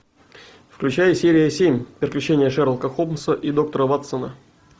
включай серия семь приключения шерлока холмса и доктора ватсона